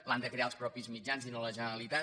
l’han de crear els mateixos mitjans i no la generalitat